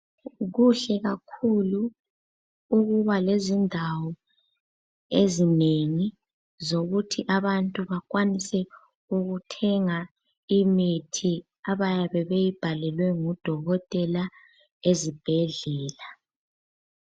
Kuhle kakhulu ukuba lezindawo ezinengi zokuthi abantu bakwanise ukuthenga imithi abayabe beyibhalelwe ngodokotela ezibhedlela.